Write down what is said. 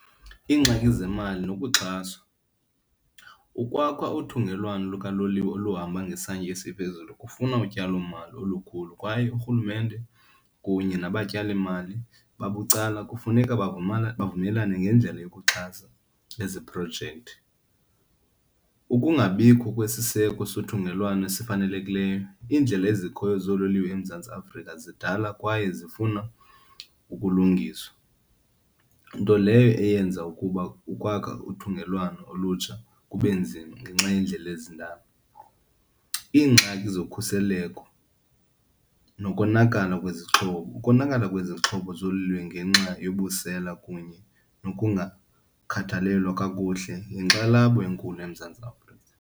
Iingxaki zemali nokuxhaswa, ukwakha uthungelwano lukaloliwe oluhamba ngesantya esiphezulu kufuna utyalomali olukhulu kwaye urhulumente kunye nabatyalimali babucala kufuneka bavumelane ngendlela yokuxhasa ezi projekthi. Ukungabikho kwesiseko sothungelwano esifanelekileyo, iindlela ezikhoyo zoololiwe eMzantsi Afrika zidala kwaye zifuna ukulungiswa nto leyo eyenza ukuba ukwakha uthungelwano olutsha kube nzima ngenxa yeendlela ezindala. Iingxaki zokhuseleko nokonakala kwezixhobo, ukonakala kwezixhobo zoololiwe ngenxa yobusela kunye nokungakhathalelwa kakuhle yinkxalabo enkulu eMzantsi Afrika.